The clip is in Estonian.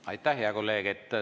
Aitäh, hea kolleeg!